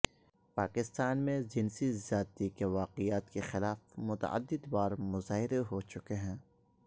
پاکستان میں جنسی زیادتی کے واقعات کے خلاف متعدد بار مظاہرے ہو چکے ہیں